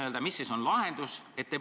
Ehk mis siis on lahendus?